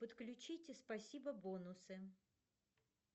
подключите спасибо бонусы